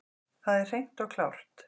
Það er hreint og klárt.